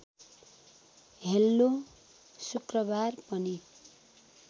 hello शुक्रबार पनि